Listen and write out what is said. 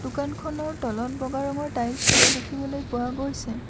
দোকানখনৰ তলত বগা ৰঙৰ টাইলছ লগোৱা দেখিবলৈ পোৱা গৈছে।